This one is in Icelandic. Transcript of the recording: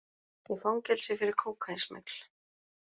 Í fangelsi fyrir kókaínsmygl